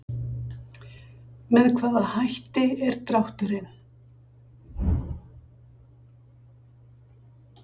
Með hvaða hætti er drátturinn?